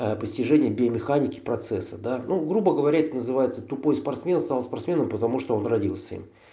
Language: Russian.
постижение биомеханики процесса да ну грубо говоря это называется тупой спортсмен стал спортсменом потому что он родился им